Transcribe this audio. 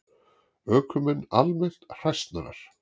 Ökumenn almennt hræsnarar